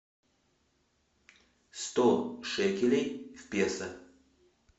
сто шекелей в песо